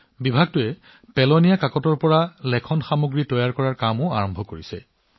বিভাগটোৱে আৱৰ্জনা কাগজৰ পৰা ষ্টেচনেৰী সামগ্ৰী বনোৱাৰ ওপৰতো কাম কৰি আছে